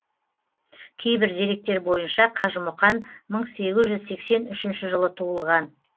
кейбір деректер бойынша қажымұқан мың сегіз жүз сексен үшінші жылы туылған